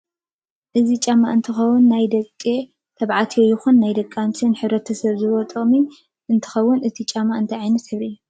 እዚ ጫማ እንትከውን ናይ ደቂ ተባዕትዮ ይኩን ናይ ደቂ ኣንስትዮ ንሕብረተሰብ ዝህቦ ጥቅሚ እንትከውን እቲ ጫማ እንታይ ዓይነት ሕብሪ እዩ?